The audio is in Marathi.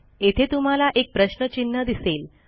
येथे तुम्हाला एक प्रश्न चिन्ह दिसेल